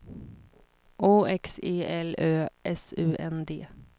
O X E L Ö S U N D